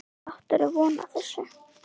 Áttirðu von á þessu?